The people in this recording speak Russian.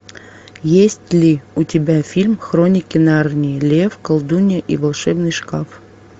есть ли у тебя фильм хроники нарнии лев колдунья и волшебный шкаф